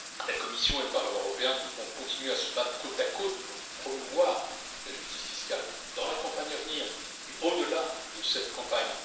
soit, la Commission et le Parlement européen devront continuer à se battre côte à côte pour promouvoir la justice fiscale dans la campagne à venir et au delà de cette campagne.